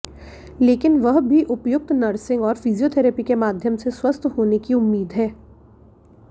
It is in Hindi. लेकिन वह भी उपयुक्त नर्सिंग और फिजियोथेरेपी के माध्यम से स्वस्थ होने की उम्मीद है